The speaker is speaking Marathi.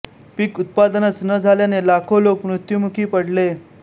पीक उत्पादनच न झाल्याने लाखो लोक मृत्युमुखी पडले